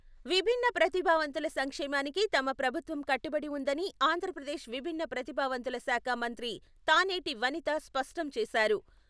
విభిన్న ప్రతిభావంతుల సంక్షేమానికి తమ ప్రభుత్వం కట్టుబడి వుందని ఆంధ్రప్రదేశ్ విభిన్న ప్రతిభావంతుల శాఖ మంత్రి తానేటి వనిత స్పష్టం చేశారు.